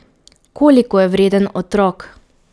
Koliko je vreden otrok?